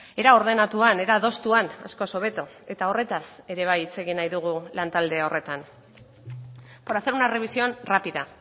era ordenatuan era adostuan askoz hobeto eta horretaz ere bai hitz egin nahi dugu lan talde horretan por hacer una revisión rápida